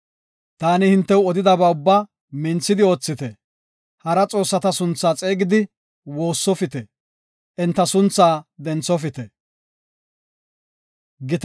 Taani hintew odidaba ubbaa minthidi oothite. Hara xoossata sunthaa xeegidi woossofite; enta sunthaa denthofite.